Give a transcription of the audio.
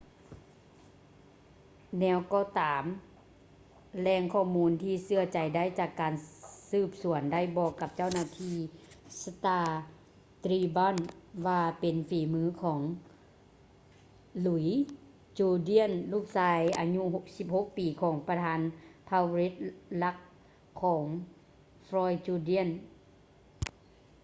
ແນວກໍຕາມ ແຫຼ່ງຂໍ້ມູນທີ່ເຊື່ອຖືໄດ້ຈາກການສືບສວນໄດ້ບອກກັບເຈົ້າໜ້າທີ່ star-tribune ວ່າເປັນຝີມືຂອງ louis jourdain ລູກຊາຍອາຍຸ 16 ປີ ຂອງປະທານເຜົ່າ red lake ຂອງ floyd jourdain